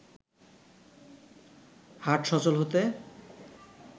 হাট সচল হতে